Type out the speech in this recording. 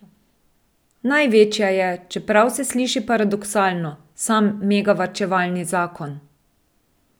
Največja je, čeprav se sliši paradoksalno, sam megavarčevalni zakon.